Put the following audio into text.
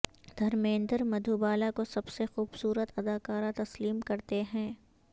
دھرمیندر مدھوبالا کو سب سے خوبصورت اداکارہ تسلیم کرتے ہیں